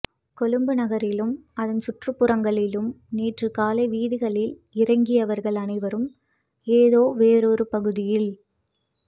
கொழும்பு நகரிலும் அதன் சுற்றுப்புறங்களிலும் நேற்றுக்காலை வீதிகளில் இறங்கியவர்கள் அனைவரும் ஏதோவொரு பகுதியில்